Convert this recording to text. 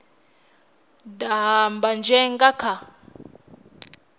daha mbanzhe vha nga kha